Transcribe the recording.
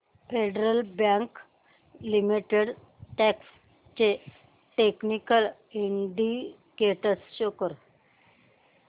federal bank limited stocks चे technical indicators show कर